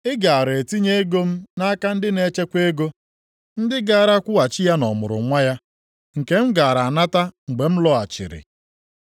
Ị gaara etinye ego m nʼaka ndị na-echekwa ego, ndị gaara akwụghachi ya na ọmụrụnwa ya, nke m gaara anata mgbe m lọghachiri.